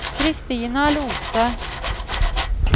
Kristina Lothe